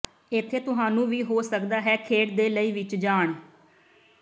ਇੱਥੇ ਤੁਹਾਨੂੰ ਵੀ ਹੋ ਸਕਦਾ ਹੈ ਖੇਡ ਦੇ ਲਈ ਵਿੱਚ ਜਾਣ